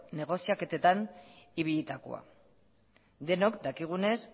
negoziaketetan ibilitakoa denok dakigunez